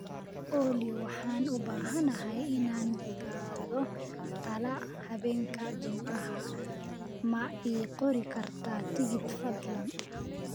olly waxaan u baahanahay inaan gaadho tala habeenka jimcaha ma ii qori kartaa tigidh fadlan